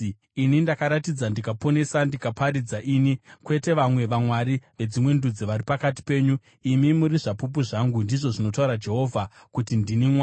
Ini ndakaratidza ndikaponesa, ndikaparidza, ini, kwete vamwe vamwari vedzimwe ndudzi vari pakati penyu. Imi muri zvapupu zvangu,” ndizvo zvinotaura Jehovha, kuti, “ndini Mwari.